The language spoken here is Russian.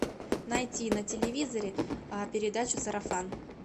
найти на телевизоре передачу сарафан